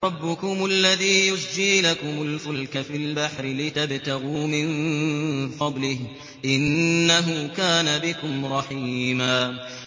رَّبُّكُمُ الَّذِي يُزْجِي لَكُمُ الْفُلْكَ فِي الْبَحْرِ لِتَبْتَغُوا مِن فَضْلِهِ ۚ إِنَّهُ كَانَ بِكُمْ رَحِيمًا